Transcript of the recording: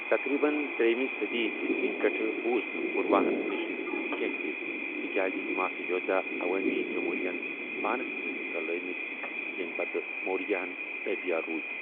تقریٖباً ترٛیٚیِمہِ صٔدی عیٖسوی پیٹھٕ بوٗز نہٕ پوُرَواہن نِش کیٚنٛہہ تہِ، تِکیازِ یِم ٲسہِ یودھیا عوٲمی جمہوٗرِیہ ہن پانس سۭتۍ رلٲوِمٕتۍ ، یِم پتہٕ مورِیاہن تابیہ روٗدِ ۔